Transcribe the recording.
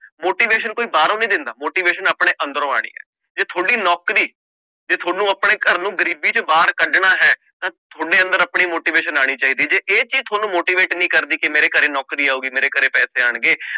Motivation ਕੋਈ ਬਾਹਰੋਂ ਨੀ ਦਿੰਦਾ motivation ਆਪਣੇ ਅੰਦਰੋਂ ਆਉਣੀ ਹੈ, ਜੇ ਤੁਹਾਡੀ ਨੌਕਰੀ ਜੇ ਤੁਹਾਨੂੰ ਆਪਣੇ ਘਰ ਨੂੰ ਗ਼ਰੀਬੀ ਚੋਂ ਬਾਹਰ ਕੱਢਣਾ ਹੈ ਤਾਂ ਤੁਹਾਡੇ ਅੰਦਰ ਆਪਣੀ motivation ਆਉਣੀ ਚਾਹੀਦੀ ਜੇ ਇਹ ਚੀਜ਼ ਤੁਹਾਨੂੰ motivate ਨਹੀਂ ਕਰਦੀ ਕਿ ਮੇਰੇ ਘਰੇ ਨੌਕਰੀ ਆਊਗੀ, ਮੇਰੇ ਘਰੇ ਪੈਸੇ ਆਉਣਗੇ,